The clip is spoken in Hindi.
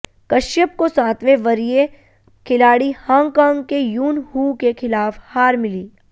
कश्यप को सातवें वरीय खिलाड़ी हांगकांग के यून हू के खिलाफ हार मिली